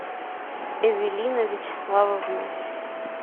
эвелина вячеславовна